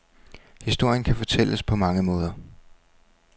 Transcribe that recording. Historien kan fortælles på mange måder.